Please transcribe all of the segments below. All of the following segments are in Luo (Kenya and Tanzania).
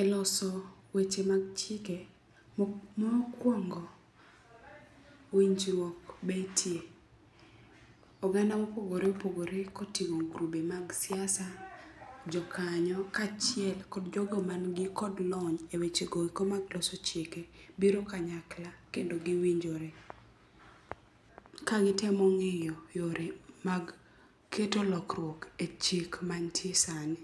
Eloso weche mag chike, mokwongo winjruok betie. Oganda mopogore opogore koting'o grube mag siasa, jokanyo, kaachiel kod jogo mani kod lony e wechegoeko mag loso chike biro kanyakla kendo giwinjore, kagitemo ng'iyo yore mag keto lokruok e chik mantie sani.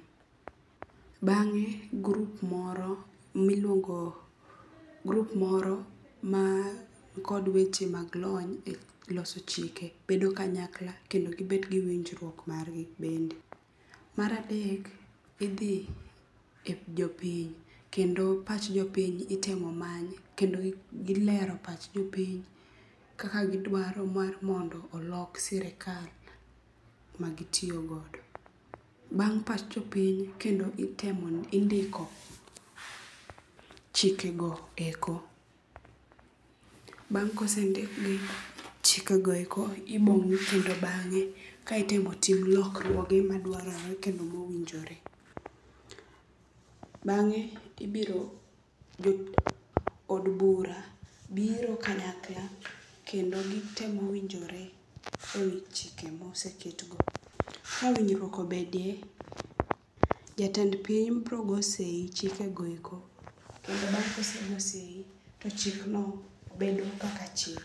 Bang'e grup moro mankod weche mag lony e loso chike bedo kanyakla kendo gibet gi winjruok margi bende. Maradek, idhi e jopiny. Kendo pach jopiny itemo many kendo gilero pach jopiny kaka gidwaro mondo olok sirikal magitiyogodo. Bang' pach jopiny kendo itemo indiko chikego eko . Bang' kosendikgi, chikegoeko obong'i kendo bang'e kaitimo tim lokruoge madwarore kendo mowinjore. Bang'e, ibiro od bura biri kanyakla kendo gitemo winjore ewi chike moseketgo. Ka winjruok obedie, jatend piny bro go sei chikegoeko. Kendo bang' kosego sei, to chikgo bedo kaka chik.